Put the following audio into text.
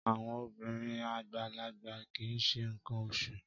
Àwọn obìnrin àgbàlagbà kì í ṣe nǹkan oṣù